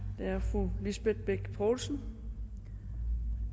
er fru lisbeth bech poulsen